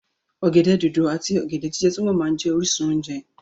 Ọ̀gẹ̀dẹ̀ dòdò àti ọ̀gẹ̀dẹ̀ jíjẹ túbọ̀ máa jẹ́ orísun oúnjẹ.